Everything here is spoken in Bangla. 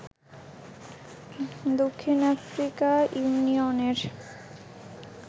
দক্ষিণ আফ্রিকা ইউনিয়নের